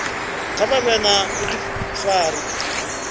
kha vha vhe na vhudifari